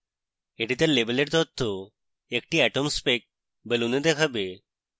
এটি তার label তথ্য একটি atomspec balloon এ দেখাবে